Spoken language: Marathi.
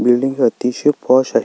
ही बिल्डिंग अतिशय पॉश आहे.